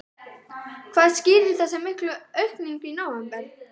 Hvað skýrir þessa miklu aukningu í nóvember?